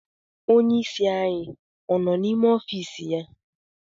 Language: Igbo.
Onyeisi anyị ọ nọ n'ime ọfịịsị ya?